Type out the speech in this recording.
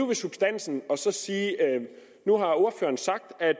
ved substansen nu har ordføreren sagt at